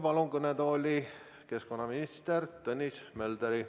Palun kõnetooli keskkonnaminister Tõnis Möldri.